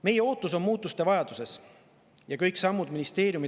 Meie ootus muutuste vajadusel.